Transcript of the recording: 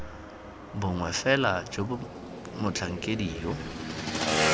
bongwe fela jo motlhakedi yo